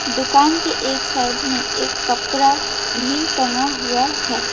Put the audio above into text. दुकान के एक साइड में एक कपड़ा भी टंगा हुआ है।